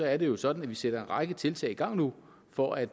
er det jo sådan at vi sætter en række tiltag i gang nu for at